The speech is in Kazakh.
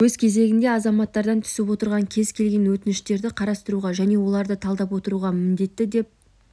өз кезегінде азаматтардан түсіп отырған кез келген өтініштерді қарастыруға және оларды талдап отыруға міндетті деп